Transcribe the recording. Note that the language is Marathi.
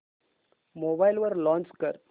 मोबाईल वर लॉंच कर